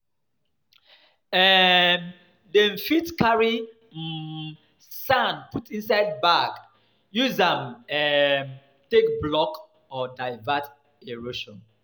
um Dem fit carry um sand put inside bag use am um take block or divert erosion